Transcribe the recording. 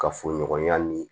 Kafoɲɔgɔnya ni